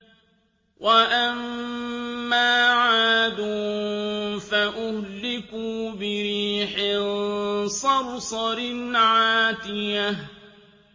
وَأَمَّا عَادٌ فَأُهْلِكُوا بِرِيحٍ صَرْصَرٍ عَاتِيَةٍ